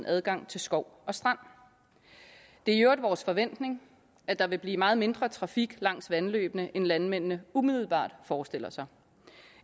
adgang til skov og strand det er i øvrigt vores forventning at der vil blive meget mindre trafik langs vandløbene end landmændene umiddelbart forestiller sig